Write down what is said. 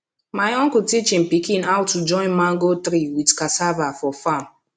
my uncle teach him pikin how to join mango tree with cassava for farm